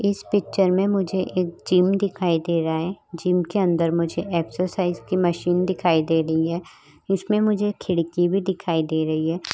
इस पिचर में मुझे एक जिम दिखाई दे रहा है जिम के अंदर मुझे एक्सरसाइज की मशीन दिखाई दे रही है इसमें मुझे एक खिड़की भी दिखाई दे रही है।